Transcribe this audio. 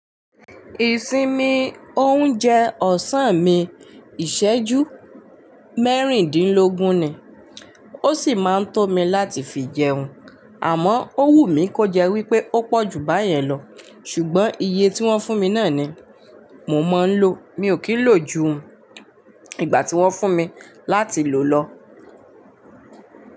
Ìsinmi oúnjẹ ọ̀sán mi ìṣẹ́jú mẹ́rìndínlógún ni. Ó sì máa ń tó mi láti fi jẹun, àmọ́ ó wù mí kó jẹ́ wípé ó pọ̀ ju báyẹn lọ. Ṣùgbọ́n iye tí wọ́n fún mi náà ni mo máa ń lò. Mi ò kí ń lò ju ìgbà tí wọ́n fún mi láti lò lọ.